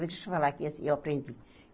Vou te falar que assim eu aprendi.